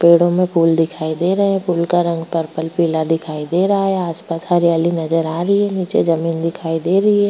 पेड़ों में फूल दिखाई दे रहें हैं फूल का रंग पर्पल पीला दिखाई दे रहा है आसपास हरियाली नजर आ रही है नीचे जमीन दिखाई दे रही है।